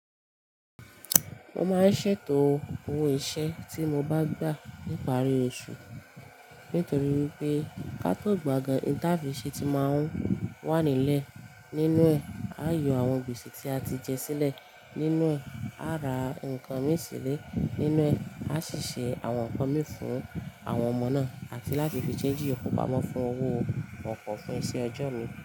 Mo máa ń ṣètò owó ìṣe tí mo bá gbà níparí oṣù, nítorí wipé kátó gbà gan-an, oun tàfi ṣẹ́ ti máa ń wà nílẹ̀. Nínú ẹ̀ a yọ àwọn gbèsè tí a ti jẹ sílẹ̀, nínú ẹ̀ a ra nǹkan mi sílẹ̀, nínú ẹ̀ a ṣì ṣe àwọn nǹkan mi fún àwọn ọmọ náà, àti láti fi ṣẹ́nji ìyókù pamọ́ fún owó ọkọ̀ fún iṣẹ́ ọjọ́ mi.